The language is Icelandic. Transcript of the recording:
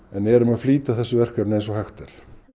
en erum að flýta þessu verkefni eins og hægt er